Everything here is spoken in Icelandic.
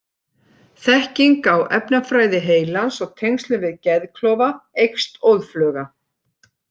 Þekking á efnafræði heilans og tengslum við geðklofa eykst óðfluga.